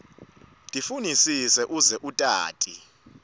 tifunisise uze utati